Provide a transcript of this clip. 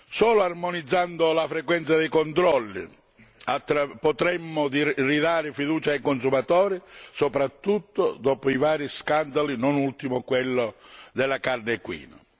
Solo armonizzando la frequenza dei controlli potremo ridare fiducia ai consumatori, soprattutto dopo i vari scandali, non ultimo quello della carne equina.